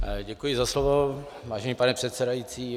Děkuji za slovo, vážený pane předsedající.